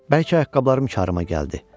Bəlkə ayaqqabılarım karıma gəldi.